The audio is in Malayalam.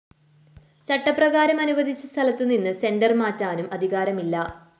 ചട്ടപ്രകാരം അനുവദിച്ച സ്ഥലത്തുനിന്ന് സെന്റർ മാറ്റാനും അധികാരമില്ല